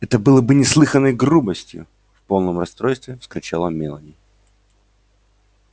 это было бы неслыханной грубостью в полном расстройстве вскричала мелани